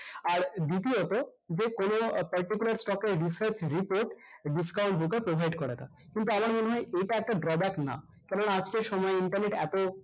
আর দ্বিতীয়ত যে কোনো particular stock এর research report discount broker provide করে না কিন্তু আমার মনে হয় এইটা একটা না কেননা আজকের সময়ে internet এতো